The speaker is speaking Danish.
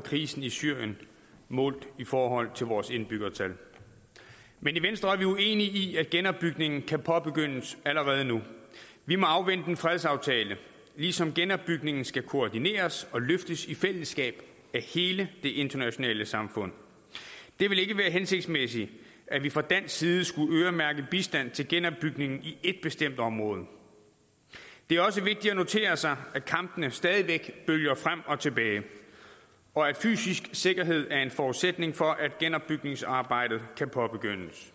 krisen i syrien målt i forhold til vores indbyggertal men i venstre er vi uenige i at genopbygningen kan påbegyndes allerede nu vi må afvente en fredsaftale ligesom genopbygningen skal koordineres og løftes i fællesskab af hele det internationale samfund det ville ikke være hensigtsmæssigt at vi fra dansk side skulle øremærke bistand til genopbygningen i et bestemt område det er også vigtigt at notere sig at kampene stadig væk bølger frem og tilbage og at fysisk sikkerhed er en forudsætning for at genopbygningsarbejdet kan påbegyndes